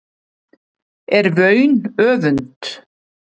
er vaun öfund